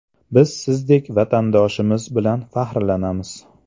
Biz sizdek vatandoshimiz bilan faxrlanamiz!